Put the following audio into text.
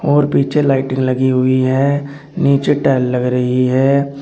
और पीछे लाइटिंग लगी हुई है नीचे टाइल लग रही है।